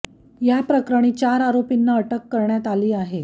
या प्रकरणी चार आरोपीना अटक करण्यात आली आहे